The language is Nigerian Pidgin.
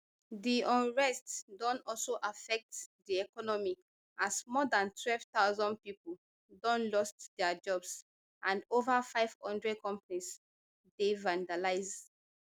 di unrest don also affect di economy as more dan twelve thousand pipo don lost dia jobs and ova five hundred companies dey vandalised